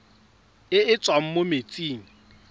e e tswang mo metsing